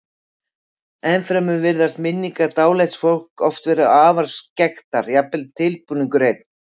Ennfremur virðast minningar dáleidds fólks oft vera afar skekktar, jafnvel tilbúningur einn.